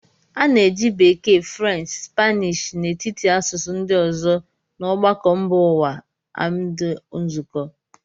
A na-eji Bekee, French, Spanish n'etiti asụsụ ndị ọzọ na ọgbakọ mba ụwa amd nzukọ.